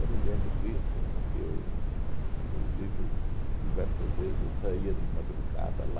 Eu me lembro disso, porque eu, inclusive, diversas vezes eu saía de madrugada lá,